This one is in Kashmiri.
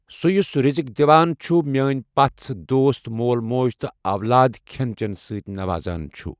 ، سُہ یُس رزق دِوان چھُ، میٲنۍ پژھ، دوست، مول موج تہٕ اولاد کھٮ۪ن چٮ۪نہٕ سۭتۍ نوازان چھُ۔